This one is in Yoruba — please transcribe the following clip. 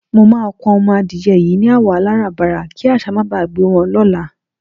Mo máa kun o̩mo̩ adìye̩ yìí ni àwò̩ aláràbarà kí às̩á má gbe wo̩n ló̩la.